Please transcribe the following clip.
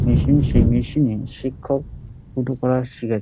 Machine সেই machine -এ শিক্ষক টুটু পড়াছিলেন।